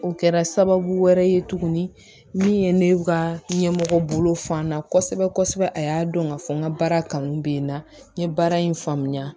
O kɛra sababu wɛrɛ ye tuguni min ye ne ka ɲɛmɔgɔ bolo fan na kosɛbɛ kosɛbɛ a y'a dɔn ka fɔ n ka baara kanu bɛ n na n ye baara in faamuya